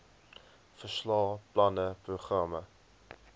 verslae planne programme